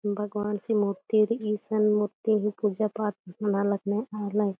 भगवान सी मूर्ति रई इसन मूर्ति ही पूजा पाठ नना लगनय आलर--